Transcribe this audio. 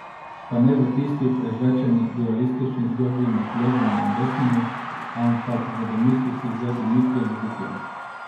Pa ne v tisti prežvečeni dualistični zgodbi med levimi in desnimi, ampak v domislici z Dimitrijem Ruplom.